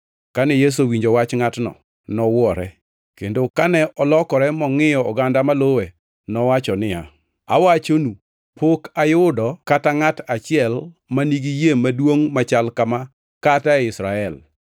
Kane Yesu owinjo wach ngʼatno, nowuore, kendo kane olokore mongʼiyo oganda maluwe, nowacho niya, “Awachonu, pok ayudo kata ngʼat achiel ma nigi yie maduongʼ machal kama kata e Israel.”